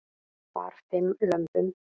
Bar fimm lömbum